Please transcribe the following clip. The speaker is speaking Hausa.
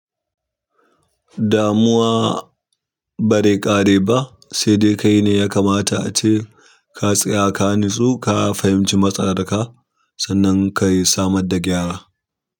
Damuwa ba zai kare ba, sai dai kai ne ya kamata ace ka tsaya ka nitsu ka fahimci matsalar ka sannan ka samar da gyara.